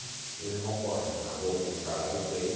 Veio meu irmão correndo, largou a pipa para lá e veio.